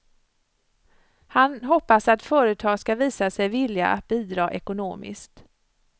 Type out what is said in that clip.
Han hoppas att företag ska visa sig villiga att bidra ekonomiskt.